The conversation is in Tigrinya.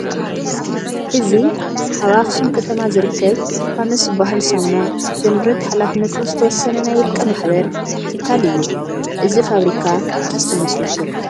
እዚ ኣብ ኣኽሱም ከተማ ዝርከብ ፋኖስ ዝበሃል ሳሙና ዘምርት ሓላፍነቱ ዝተወሰነ ናይ ውልቀ ማሕበር ትካል እዩ፡፡ እዚ ፋብሪካ መዓዝ ተመስሪቱ?